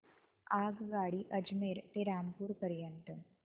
आगगाडी अजमेर ते रामपूर पर्यंत